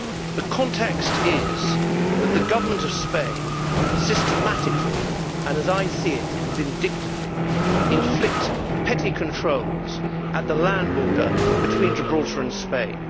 The context is that the Government of Spain systematically and as I see it, vindictively inflicts petty controls at the land border between Gibraltar and Spain.